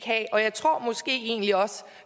have og jeg tror måske egentlig også